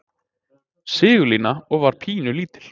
Sigurlína og var pínulítil.